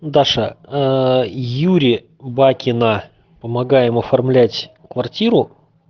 даша юре бакина на помогаем оформлять квартиру